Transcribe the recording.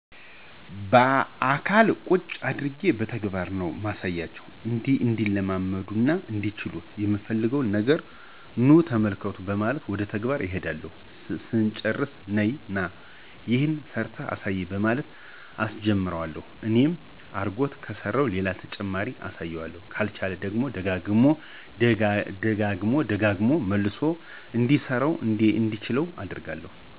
ባአካል ቁጭ አድርጌ በተግባር ነው ማሳያቸው። እንዲለምዱትና እንዲችሉት ምፈልገውን ነገር ኑ ተመልከቱ በማለት ወደ ተግባር እሄዳለሁ ስጨርስ ነይ/ና ይሄን ሰርተህ አሳየኝ በማለት አሰጀምረዋለሁ እንደኔ አርጎ ከሰራው ሌላ ተጨማሪ አሳየዋለሁ ካልቻለው ደግሞ ደግሞ ደጋግሞ መልሶ እንዲሰራው እና እንዲችለው አደርጋለሁ።